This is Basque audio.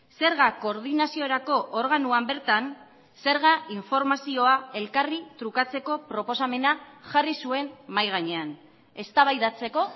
zergak koordinaziorako organoan bertan zerga informazioa elkarri trukatzeko proposamena jarri zuen mahai gainean eztabaidatzeko